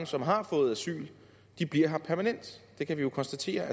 som har fået asyl bliver her permanent det kan vi jo konstatere